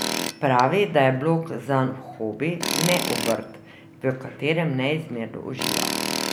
Pravi, da je blog zanj hobi, ne obrt, v katerem neizmerno uživa.